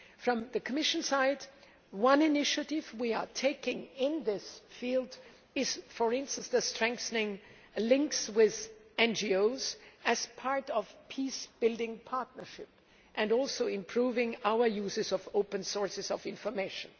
From the Commission side, one initiative we are taking in this field is to strengthen links with NGOs as part of a peacebuilding partnership, and also improving our uses of open sources of information.